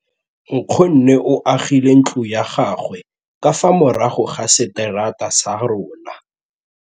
Nkgonne o agile ntlo ya gagwe ka fa morago ga seterata sa rona.